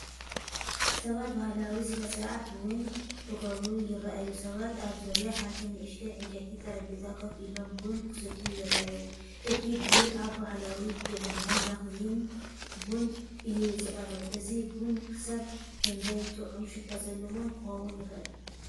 ሰባት ባህላዊ ስነ-ስርዓት ቡን ክገብሩ ይረኣዩ። ሰባት ኣብ ዙርያ ሓንቲ ንእሽቶ ዕንጨይቲ ጠረጴዛ ኮፍ ኢሎም ቡን ክሰትዩ ይረኣዩ። እቲ ቡን ኣብ ባህላዊ ጀበና (መኽዘን ቡን) እዩ ዝቐርብ፣ እዚ ቡን ክሳብ ክንደይ ጥዑምን ሽታ ዘለዎን ክኸውን ይኽእል?